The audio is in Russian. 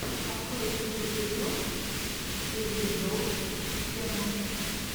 открой лучший эпизод созидроппд ченнал